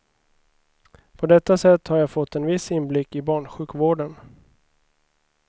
På detta sätt har jag fått en viss inblick i barnsjukvården.